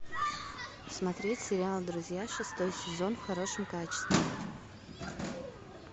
смотреть сериал друзья шестой сезон в хорошем качестве